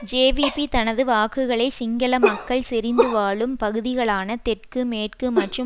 JVP தனது வாக்குகளை சிங்கள மக்கள் செறிந்துவாழும் பகுதிகளான தெற்கு மேற்கு மற்றும்